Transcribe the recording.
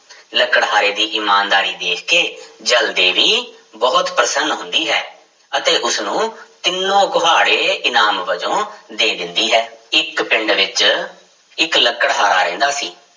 ਲੱਕੜਹਾਰੇ ਦੀ ਇਮਾਨਦਾਰੀ ਦੇਖ ਕੇ ਜਲ ਦੇਵੀ ਬਹੁਤ ਪ੍ਰਸੰਨ ਹੁੰਦੀ ਹੈ ਅਤੇ ਉਸਨੂੰ ਤਿੰਨੋ ਕੁਹਾੜੇ ਇਨਾਮ ਵਜੋਂ ਦੇ ਦਿੰਦੀ ਹੈ, ਇੱਕ ਪਿੰਡ ਵਿੱਚ ਇੱਕ ਲਕੜਹਾਰਾ ਰਹਿੰਦਾ ਸੀ।